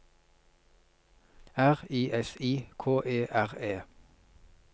R I S I K E R E